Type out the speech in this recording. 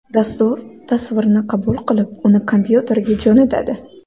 Dastur tasvirni qabul qilib, uni kompyuterga jo‘natadi.